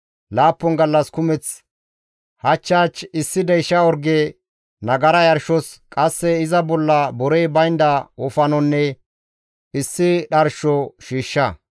« ‹Laappun gallas kumeth, hach hach issi deysha orge nagara yarshos, qasse iza bolla borey baynda wofanonne issi dharsho shiishsha.